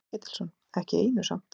Kolbeinn Ketilsson: Ekki í einu samt?